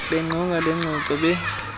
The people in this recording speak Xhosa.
beqonga lengxoxo be